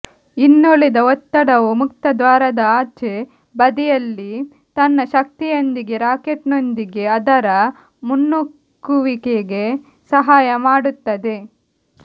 ಇನ್ನುಳಿದ ಒತ್ತಡವು ಮುಕ್ತದ್ವಾರದ ಆಚೆ ಬದಿಯಲ್ಲಿ ತನ್ನ ಶಕ್ತಿಯೊಂದಿಗೆ ರಾಕೆಟ್ ನೊಂದಿಗೆ ಅದರ ಮುನ್ನೂಕುವಿಕೆಗೆ ಸಹಾಯ ಮಾಡುತ್ತದೆ